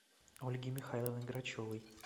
ольги михайловны грачевой